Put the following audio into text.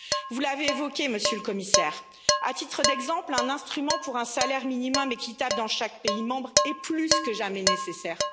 Vous l'avez évoqué, Monsieur le Commissaire, à titre d'exemple, un instrument pour un salaire minimum équitable dans chaque pays membre est plus que jamais nécessaire.